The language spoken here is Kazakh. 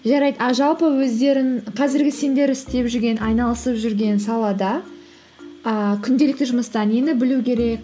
жарайды а жалпы өздерің қазіргі сендер істеп жүрген айналысып жүрген салада ііі күнделікті жұмыста нені білу керек